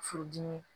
Furudimi